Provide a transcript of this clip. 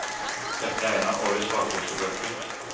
Dette er en av årets vakreste bøker.